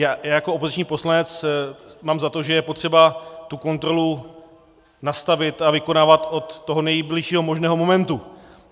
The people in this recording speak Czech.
Já jako opoziční poslanec mám za to, že je potřeba tu kontrolu nastavit a vykonávat od toho nejbližšího možného momentu.